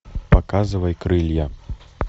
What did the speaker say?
показывай крылья